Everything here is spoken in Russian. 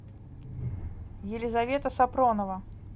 елизавета сапронова